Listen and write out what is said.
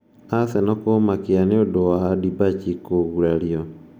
Arsenal kũmakia nĩ ũndũ wa Debuchy kũgurario